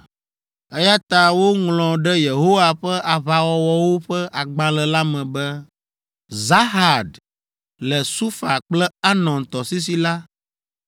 Eya ta woŋlɔ ɖe Yehowa ƒe Aʋawɔwɔwo ƒe Agbalẽ la me be, Zahad le Sufa kple Arnon tɔsisi la,